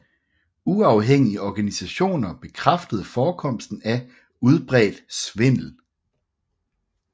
Uafhængige organisationer bekræftede forekomsten af udbredt svindel